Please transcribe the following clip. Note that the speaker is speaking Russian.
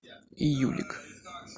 июлик